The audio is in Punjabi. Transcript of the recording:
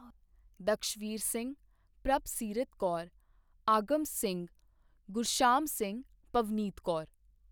ਦਕਸ਼ਵੀਰ ਸਿੰਘ ਪ੍ਰਭਸੀਰਤ ਕੌਰ ਆਗਮਨ ਸਿੰਘ ਗੁਰਸ਼ਾਮ ਸਿੰਘ ਪਵਨੀਤ ਕੌਰ